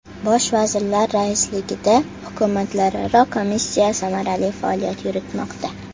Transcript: Bosh vazirlar raisligida Hukumatlararo komissiya samarali faoliyat yuritmoqda.